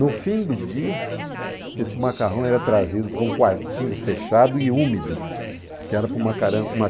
No fim do dia, esse macarrão era trazido para um quartinho fechado e úmido, que era para o macarrão ma